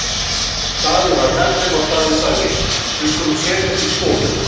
Daði var með þeim og Daði sagði:-Við skulum setjast í stofu.